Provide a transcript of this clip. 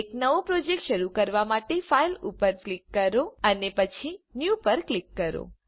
એક નવો પ્રોજેક્ટ શરૂ કરવા માટે ફાઇલ પર ક્લિક કરો અને પછી ન્યૂ પર ક્લિક કરો